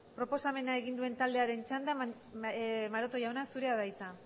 proposamena egin duen taldearen txanda maroto jauna zurea da hitza